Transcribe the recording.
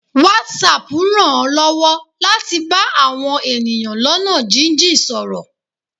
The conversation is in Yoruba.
Whatsapp rań ọ lọwọ latí bá awọn eníyan lona jin-jin sọrọ